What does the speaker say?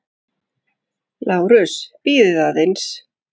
LÁRUS: Bíðið aðeins.